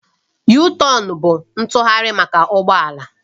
Yutọonu bụ ntụgharị maka ụgbọ ala